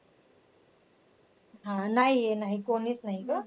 हा नाही नाही कोणीच नाही गं.